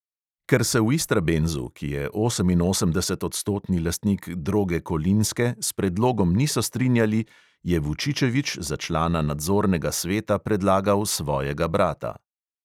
Ker se v istrabenzu, ki je oseminosemdesetodstotni lastnik droge kolinske, s predlogom niso strinjali, je vučičevič za člana nadzornega sveta predlagal svojega brata.